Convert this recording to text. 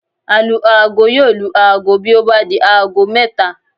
Alu-aago yóò lu aago bí ó bá di aago mẹ́ta